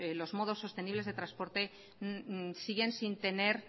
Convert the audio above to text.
los modos sostenibles de transporte siguen sin tener